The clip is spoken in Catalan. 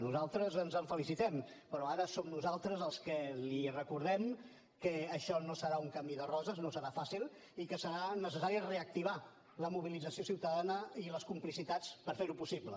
nosaltres ens en felicitem però ara som nosaltres els que li recordem que això no serà un camí de roses no serà fàcil i que serà necessari reactivar la mobilització ciutadana i les complicitats per ferho possible